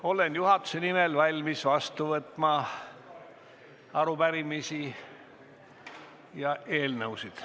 Olen juhatuse nimel valmis vastu võtma arupärimisi ja eelnõusid.